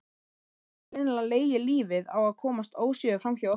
Hafði greinilega legið lífið á að komast óséður framhjá okkur.